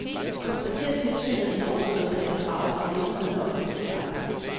Konstaterer tilsynet en overskridelse af et krav, har virksomheden ofte en forklaring.